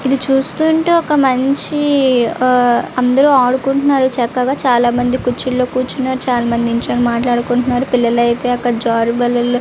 ఇది చూస్తుంటే ఒక మంచి ఆ అందరు అడుకున్తునారు చక్కగా చాల మంది కురుచి లో కురుచునారు చాల మంది నిలుచ్ప్నో మాట్లాడుతునారు పిల్లలు అయతె జారు బల్లలో --